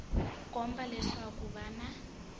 komba leswaku ko va na